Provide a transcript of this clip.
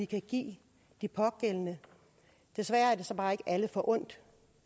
kan give de pågældende desværre er det så bare ikke alle forundt